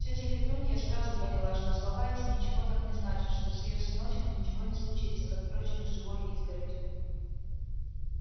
тётя петунья сразу поняла что слова эти ничего так не значат что с её сыночком ничего не случится как впрочем и с живой изгородью